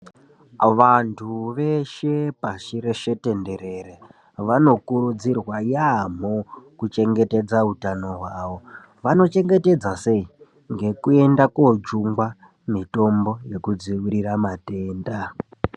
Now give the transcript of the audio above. Vantu veshe , pasi reshe tenderere vanokurudzirwaa yaaamhoo, kuti vachengetedze utanoo hwavo, vanochengetedza sei? Ngekuenda kundojungwaa mitombo yekudzivirira matendaa.